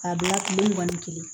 K'a bila tile mugan ni kelen